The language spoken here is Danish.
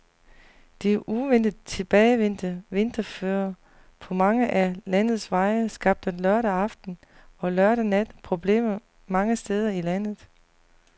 Det uventet tilbagevendte vinterføre på mange af landets veje skabte lørdag aften og lørdag nat problemer mange steder i landet.